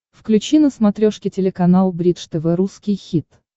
включи на смотрешке телеканал бридж тв русский хит